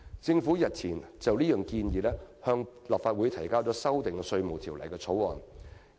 政府日前已就這項建議，向立法會提交了修訂《稅務條例》的條例草案。